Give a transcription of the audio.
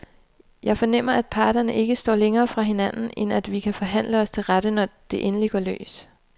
Jeg fornemmer, at parterne ikke står længere fra hinanden, end at vi kan forhandle os til rette, når det endelig går løs.